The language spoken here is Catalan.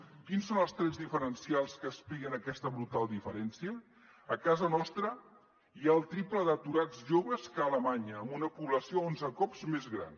quins són els trets diferencials que expliquen aquesta brutal diferència a casa nostra hi ha el triple d’aturats joves que a alemanya amb una població onze cops més gran